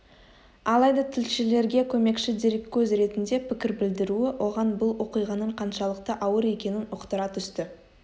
алайда тілшілерге көмекші дереккөз ретінде пікір білдіруі оған бұл оқиғаның қаншалықты ауыр екенін ұқтыра түсті